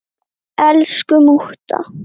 Elsku mútta.